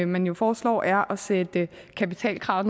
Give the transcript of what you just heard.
man jo foreslår er at sætte kapitalkravet